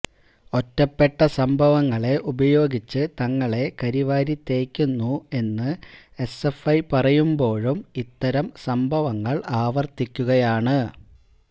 ഒറ്റപ്പെട്ട സംഭവങ്ങളെ ഉപയോഗിച്ച് തങ്ങളെ കരിവാരി തേയ്ക്കുന്നു എന്ന് എസ്എഫ്ഐ പറയുമ്പോഴും ഇത്തരം സംഭവങ്ങള് ആവര്ത്തിക്കുകയാണ്